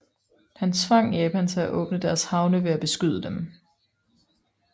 Han tvang Japan til at åbne deres havne ved at beskyde dem